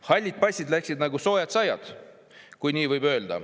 Hallid passid läksid nagu soojad saiad, kui nii võib öelda.